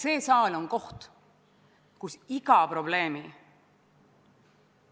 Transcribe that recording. See, mida me seal komisjonis Oudekki Loonelt kuulsime, oli sisuliselt Putini propaganda kordamine: Ukrainas käib kodusõda, Venemaa selles ei osale.